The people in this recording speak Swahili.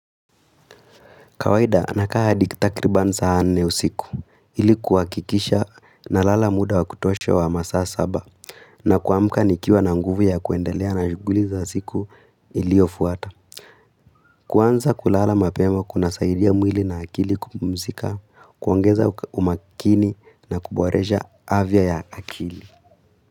Kawaida amekaa hadi takriban saa nne usiku ili kuhakikisha nalala muda wa kutosha wa masaa saba na kuamka nikiwa na nguvu ya kuendelea na shughuli za siku iliyofuata. Kuanza kulala mapema kuna saidia mwili na akili kupumzika, kuongeza umakini na kuboresha avya ya akili.